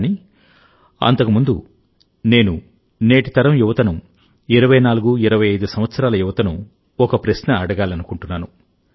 కానీ అంతకు ముందు నేను నేటి తరం యువతను 2425 సంవత్సరాల యువతను ఒక ప్రశ్న అడగాలనుకుంటున్నాను